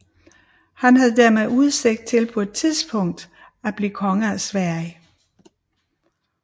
Han havde dermed udsigt til på et tidspunkt at blive konge af Sverige